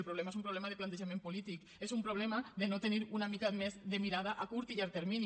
el problema és un problema de plantejament polític és un problema de no tenir una mica més de mirada a curt i llarg termini